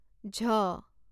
ঝ